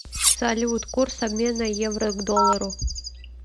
салют курс обмена евро к доллару